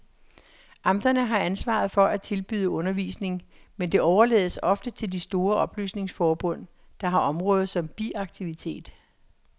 Amterne har ansvaret for at tilbyde undervisning, men det overlades ofte til de store oplysningsforbund, der har området som biaktivitet.